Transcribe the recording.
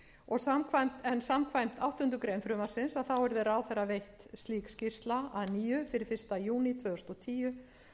heyra samkvæmt áttundu greinar frumvarpsins yrði ráðherra veitt slík skýrsla að nýju fyrir fyrsta júní tvö þúsund og tíu